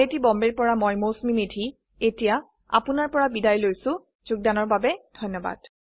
I I T Bombay ৰ পৰা মই মৌচুমী মেধী এতিয়া আপুনাৰ পৰা বিদায় লৈছো যোগদানৰ বাবে ধন্যবাদ